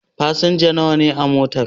Fasinja nawa ne a motan?